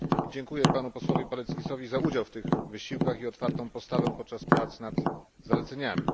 Dziękuję panu posłowi Paleckisowi za udział w tych wysiłkach i otwartą postawę podczas prac nad zaleceniami.